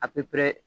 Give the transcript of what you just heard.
A